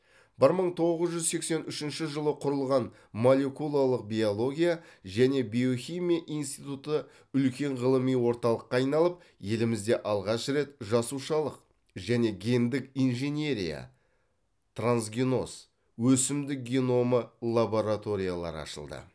бір мың тоғыз жүз сексен үшінші жылы құрылған молекулалық биология және биохимия институты үлкен ғылыми орталыққа айналып елімізде алғаш рет жасушалық және гендік инженерия трансгеноз өсімдік геномы лабораториялары ашылды